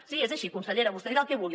sí és així consellera vostè dirà el que vulgui